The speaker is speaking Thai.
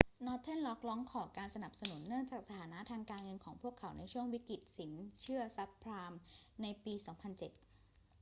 northern rock ร้องขอการสนับสนุนเนื่องจากสถานะทางการเงินของพวกเขาในช่วงวิกฤตสินเชื่อซับไพรม์ในปี 2007